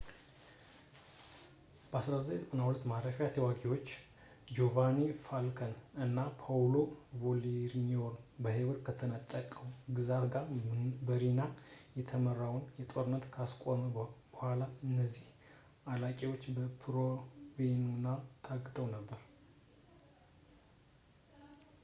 በ1992 የማፊያ ተዋጊዎች ጂዮቫኒ ፋልከን እና ፖዎሎ ቦርሴሊኖን ህይወት ከነጠቀው ግዛት ጋር በሪና-የተመራውን ጦርነት ካስቆመ በኋላ እነዚህ አለቃዎች በፕሮቬንዛኖ ታግተው ነበር